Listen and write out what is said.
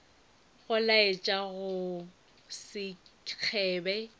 go laetša go se kgebe